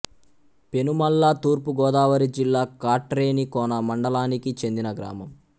పెనుమల్ల తూర్పు గోదావరి జిల్లా కాట్రేనికోన మండలానికి చెందిన గ్రామం